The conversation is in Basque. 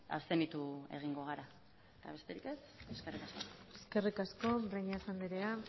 abstenitu egingo gara eta besterik ez eskerrik asko eskerrik asko breñas andrea